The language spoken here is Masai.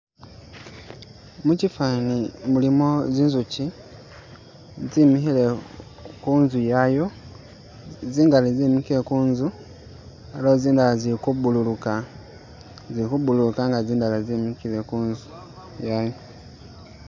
Mukifani mulimo zi nzuki tse mikhile khunzu yayo zingali zemikile kunzu aliwo zindala zili ku bululuka nga zindala ze mikile kunzu.